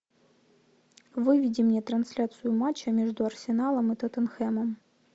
выведи мне трансляцию матча между арсеналом и тоттенхэмом